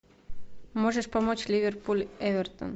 можешь помочь ливерпуль эвертон